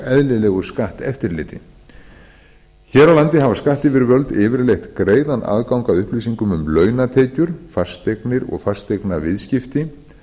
eðlilegu skatteftirliti hér á landi hafa skattyfirvöld yfirleitt greiðan aðgang að upplýsingum um launatekjur fasteignir og fasteignaviðskipti